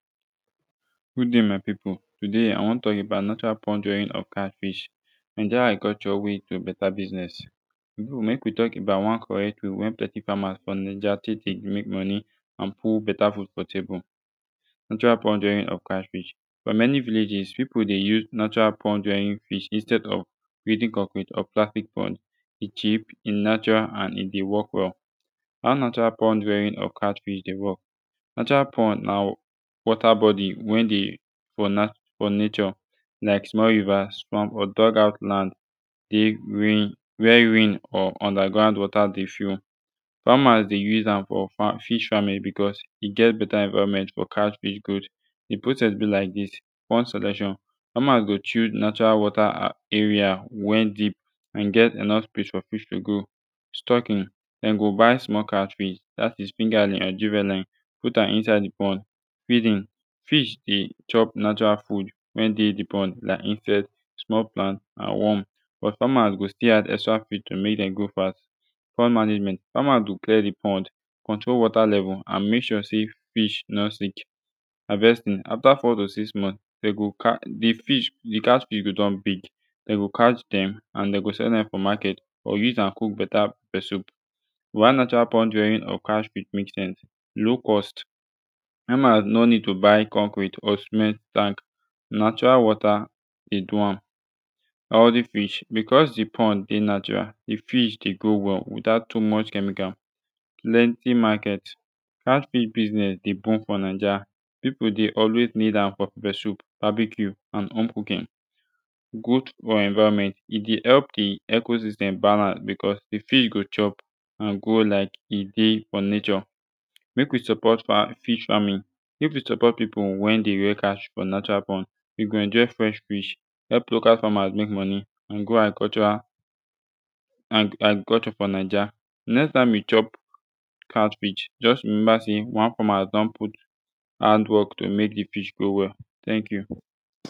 good day my pipu today i wan tok about natural pond rearing of catfish naija agriculture ways to better biznes so mek wi tok about one correct way wey plenti famas fo naija tek dey mek moni and put beta fud fo table natural pond rearing of catfish fo mani villages pipu dey use natural pond rearing fish instead of building concrete or plastic pond e cheap e natural and e dey work wel how natural pond rearing of catfish dey wok natural pond na wata bodi wey de for na fo nature lik small rivers or small fam land de rain wey rain or underground wata de fill famas de use am fo fam fish faming becuz e get beta environment fo catfish growth de process bi lik dis pond selection famas go choose natural wata and area wen deep and get enough space fo fish to grow stocking dem go buy small catfish dat is fingerling and juvenile put am inside de pond feeding fish de chop natural food wen dey de pond lik insect small plant and worm but famas go stil add extra feed to mek dem grow fast pond management famas go clear de pond control water level and mek sure sey fish no sink havestin afta 4 to 6 months dem go cari de fish de catfish go don big dem go catch dem an dem go sell dem fo maket or use am cook beta pepper soup why natural pond rearing of catfish mek sense low cost famas no nid to buy concrete or cement tank natural wata dey do am healthy fish becuz de pond dey natural de fish dey grow well without too much chemical plenti maket cat fish bisnez de boom fo naija pipu de always nid am fo pepper soup babecue and home cooking good fo environment e dey help de ecosystem balance beccuz de fish go chop and grow lik e dey fo nature mek wi support fam fish faming mek wi support pipu wey de rear catfish fo natural pond wi go enjoy fresh fish help local famas mek monie and grow agricultural and agriculture fo naija next time wi chop catfish juz rememba sey one fama don put hardwok to mek de fish grow well teink yu